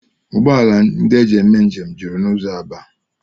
Ụgbọala ndị e ji eme njem juru n'ụzọ Aba